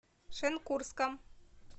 шенкурском